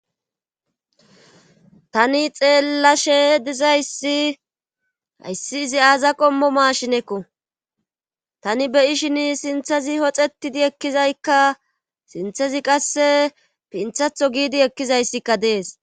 Tani xeellashe dizayssi hayssi izi aaza qommo maashinekko tani beyishin sinthezi hoxetidi ekkizaykka sinthezi qasse pinthatho giidi ekkizayssikka dees.